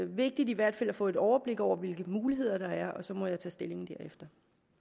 vigtigt i hvert fald at få et overblik over hvilke muligheder der er og så må jeg tage stilling derefter